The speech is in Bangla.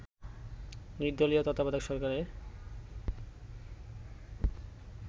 নির্দলীয় তত্ত্বাবধায়ক সরকারের